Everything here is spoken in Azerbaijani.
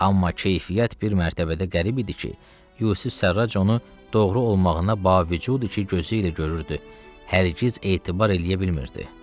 Amma keyfiyyət bir mərtəbədə qərib idi ki, Yusif Sərrac onu doğru olmağına bavu, ki, gözü ilə görürdü, hər qız etibar eləyə bilmirdi.